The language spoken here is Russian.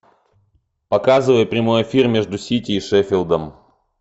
показывай прямой эфир между сити и шеффилдом